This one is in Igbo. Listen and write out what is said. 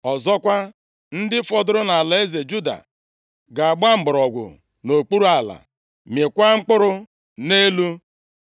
Ọzọkwa, ndị fọdụrụ nʼalaeze Juda ga-agba mgbọrọgwụ nʼokpuru ala, mịkwaa mkpụrụ nʼelu.